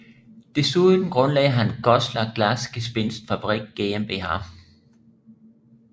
Desuden grundlagde han Goßler Glasgespinst Fabrik GmbH